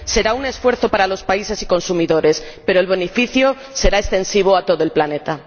Será un esfuerzo para los países y consumidores, pero el beneficio será extensivo a todo el planeta.